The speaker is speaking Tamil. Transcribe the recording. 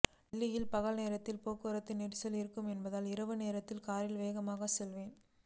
டெல்லியில் பகல் நேரத்தில் போக்குவரத்து நெரிசல் இருக்கும் என்பதால் இரவு நேரத்தில் காரில் வேகமாக செல்வேன்